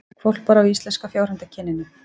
Hvolpar af íslenska fjárhundakyninu